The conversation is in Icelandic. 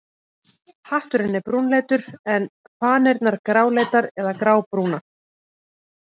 Hatturinn er brúnleitur en fanirnar gráleitar eða grábrúnar.